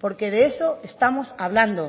porque de eso estamos hablando